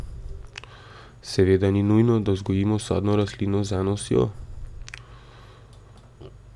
Seveda ni nujno, da vzgojimo sadno rastlino z eno osjo.